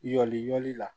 Yali la